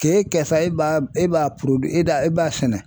K'e kɛ sa e b'a e b'a e b'a e b'a sɛnɛ